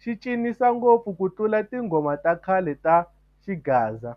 xi cinisa ngopfu ku tlula tinghoma ta khale ta xigaza.